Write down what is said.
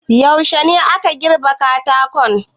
Yuashe ne aka girbe katakon?